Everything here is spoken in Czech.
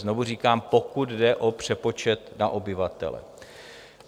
Znovu říkám, pokud jde o přepočet na obyvatele.